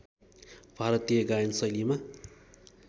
भारतीय गायन शैलीमा